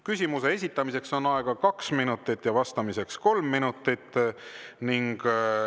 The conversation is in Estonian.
Küsimuse esitamiseks on aega kaks minutit ja vastamiseks kolm minutit.